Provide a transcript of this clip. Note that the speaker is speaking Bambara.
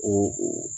O